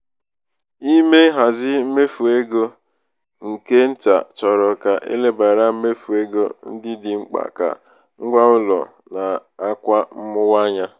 ime nhazi mmefu ego nke nta chọrọ ka e lebara mmefu ego ndị dị mkpa ka ngwaụlọ na akwa mwụwa anya.